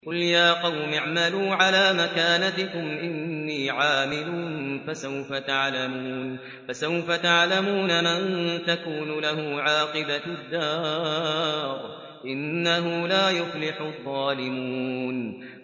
قُلْ يَا قَوْمِ اعْمَلُوا عَلَىٰ مَكَانَتِكُمْ إِنِّي عَامِلٌ ۖ فَسَوْفَ تَعْلَمُونَ مَن تَكُونُ لَهُ عَاقِبَةُ الدَّارِ ۗ إِنَّهُ لَا يُفْلِحُ الظَّالِمُونَ